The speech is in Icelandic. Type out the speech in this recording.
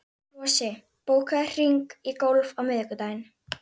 Flosi, bókaðu hring í golf á miðvikudaginn.